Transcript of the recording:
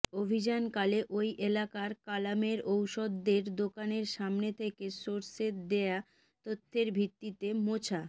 অভিযানকালে ওই এলাকার কালামের ঔষদের দোকানের সামনে থেকে সোর্সের দেয়া তথ্যের ভিত্তিতে মোছা